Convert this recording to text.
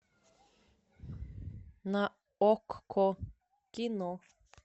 на окко кино